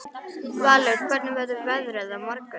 Valur, hvernig verður veðrið á morgun?